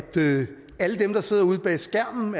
alle dem der sidder ude bag skærmen